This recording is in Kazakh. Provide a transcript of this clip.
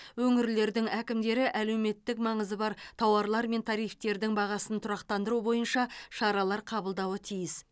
өңірлердің әкімдері әлеуметтік маңызы бар тауарлар мен тарифтердің бағасын тұрақтандыру бойынша шаралар қабылдауы тиіс